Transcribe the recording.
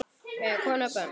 Eiga konu og börn?